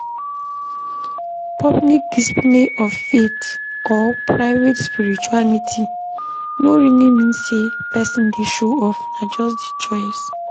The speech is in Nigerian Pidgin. Public display of faith or private spirituality no really mean sey person dey show off, na just di choice